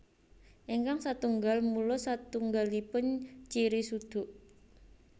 Ingkang satunggal mulus satunggalipun ciri suduk